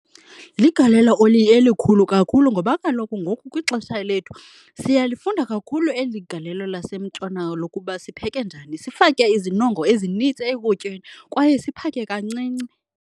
Ligalelo elikhulu kakhulu, ngoba kaloku ngoku kwixesha lethu siyalifunda kakhulu eli galelo lasentshona lokuba sipheke njani, sifake izinongo ezinintsi ekutyeni kwaye siphake kancinci.